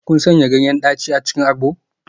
Kun sanya ganyen daci a cikin agbo?